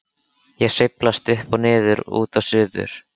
Ég sveiflast upp og niður, út og suður.